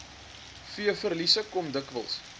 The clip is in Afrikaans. veeverliese kom dikwels